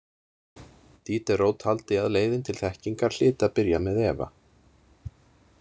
Diderot taldi að leiðin til þekkingar hlyti að byrja með efa.